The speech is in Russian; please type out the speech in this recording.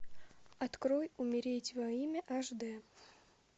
открой умереть во имя аш дэ